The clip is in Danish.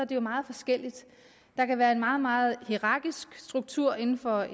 det jo meget forskelligt der kan være en meget meget hierarkisk struktur inden for